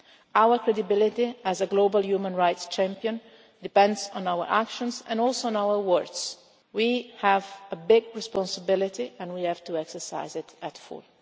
Our credibility as a global human rights champion depends on our actions and also on our words. We have a big responsibility and we have to exercise it to the full.